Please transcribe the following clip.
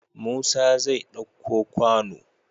Musa zai ɗauko kwano